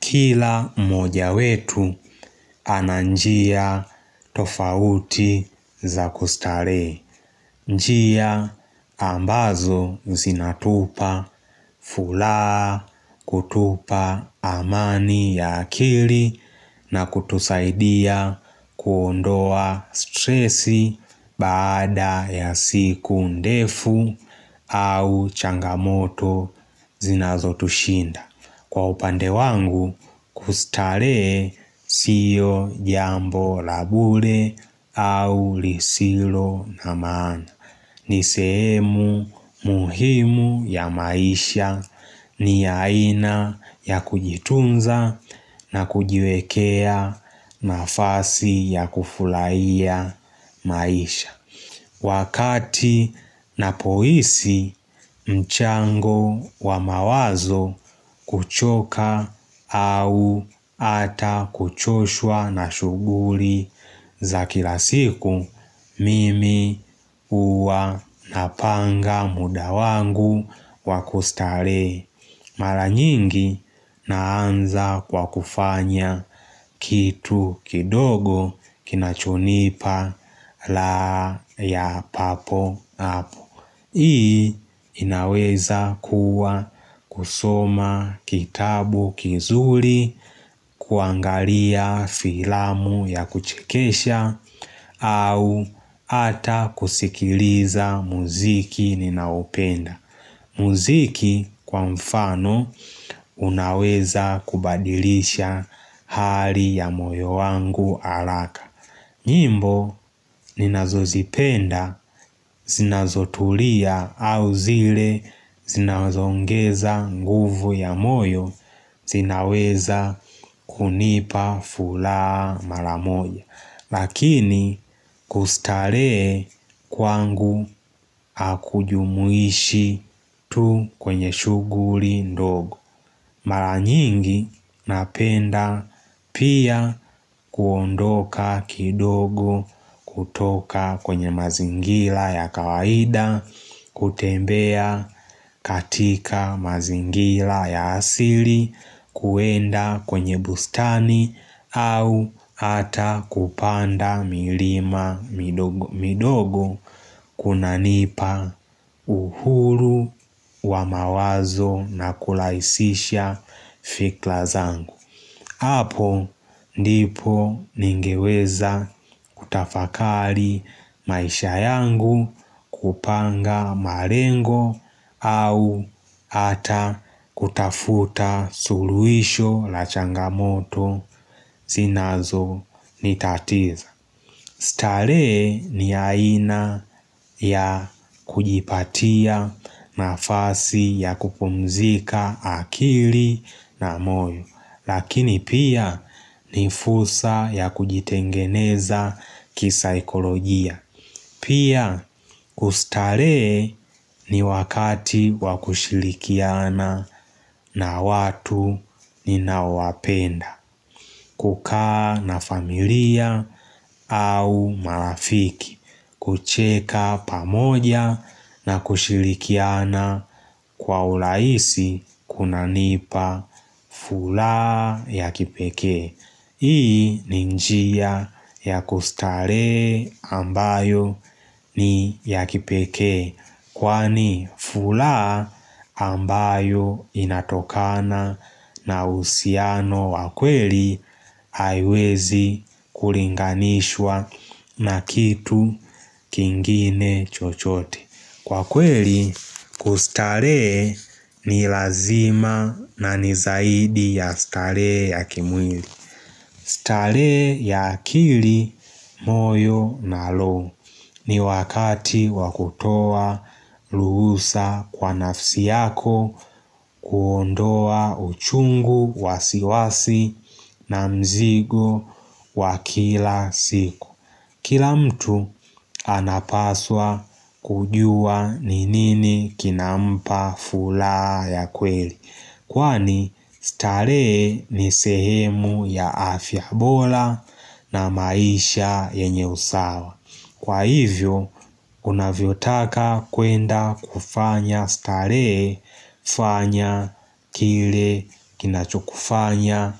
Kila moja wetu ananjia tofauti za kustare. Njia ambazo zinatupa furaha kutupa amani ya akili na kutusaidia kuondoa stresi baada ya siku ndefu au changamoto zinazo tushinda. Kwa upande wangu kustare siyo jambo la bure au lisilo na maana ni seemu muhimu ya maisha ni yaina ya kujitunza na kujiwekea nafasi ya kufulaiya maisha Wakati napohisi mchango wa mawazo kuchoka au ata kuchoshwa na shuguri za kila siku, mimi uwa na panga muda wangu wakustare. Mara nyingi naanza kwa kufanya kitu kidogo kinachonipa raha ya papo apu Hii inaweza kuwa kusoma kitabu kizuri kuangalia filamu ya kuchikesha au ata kusikiliza muziki ninaopenda Muziki kwa mfano unaweza kubadilisha hali ya moyo wangu alaka nyimbo ni nazozipenda zinazotulia au zile zinazongeza nguvu ya moyo zinaweza kunipa furaha mara moja Lakini kustaree kwangu akujumuishi tu kwenye shuguri ndogo Mara nyingi napenda pia kuondoka kidogo kutoka kwenye mazingira ya kawaida kutembea katika mazingira ya asili kwenda kwenye bustani au ata kupanda milima midogo kunanipa uhuru wa mawazo na kulaisisha fikra zangu Apo ndipo ningeweza kutafakali maisha yangu kupanga marengo au ata kutafuta suluhisho la changamoto zinazonitatiza. Stare ni aina ya kujipatia na fasi ya kupumzika akili na moyo Lakini pia ni fursa ya kujitengeneza kisa ekolojia Pia ustare ni wakati wakushilikiana na watu ni nawapenda kukaa na familia au marafiki kucheka pamoja na kushirikiana kwa urahisi kuna nipa furaha ya kipeke Hii ninjia ya kustare ambayo ni ya kipeke Kwani furaha ambayo inatokana na usiano wakweli haiwezi kuringanishwa na kitu kingine chochote Kwa kweli kustare ni lazima na nizaidi ya stare ya kimwili Stare ya kili moyo na roho ni wakati wakutoa luhusa kwa nafsi yako kuondoa uchungu wasiwasi na mzigo wa kila siku. Kila mtu anapaswa kujua ni nini kinampa furaha ya kweli Kwani staree ni sehemu ya afya bola na maisha yenye usawa Kwa hivyo unavyo taka kwenda kufanya staree fanya kile kinachukufanya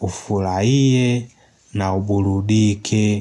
ufurahie na uburudike.